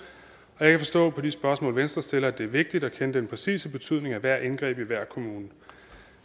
og jeg kan forstå på de spørgsmål venstre stiller at det er vigtigt at kende den præcise betydning af hvert indgreb i hver kommune